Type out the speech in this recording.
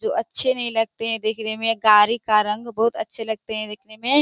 जो अच्छे नहीं लगते हैं देखने मे गाड़ी का रंग बहुत अच्छे लगते हैं देखने मे --